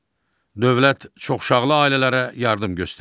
Dövlət çoxuşaqlı ailələrə yardım göstərir.